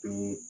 Ee